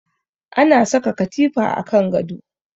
Ana saka katifa a kan gado